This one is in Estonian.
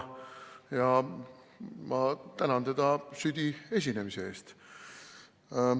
Ma tänan teda südi esinemise eest.